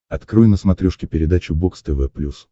открой на смотрешке передачу бокс тв плюс